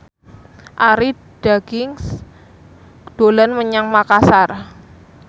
Arie Daginks dolan menyang Makasar